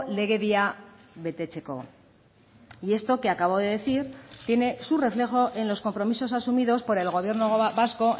legedia betetzeko y esto que acabo de decir tiene su reflejo en los compromisos asumidos por el gobierno vasco